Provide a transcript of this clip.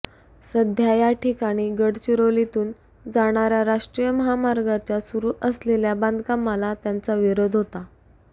सध्या या ठिकाणी गडचिरोलीतून जाणार्या राष्ट्रीय महामार्गाच्या सुरू असलेल्या बांधकामाला त्यांचा विरोध होता